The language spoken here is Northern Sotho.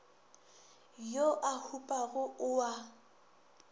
yo a hupago o a